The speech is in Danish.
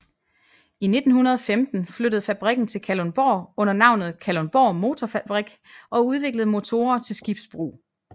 I 1915 flyttede fabrikken til Kalundborg under navnet Kalundborg Motorfabrik og udviklede motorer til skibsbrug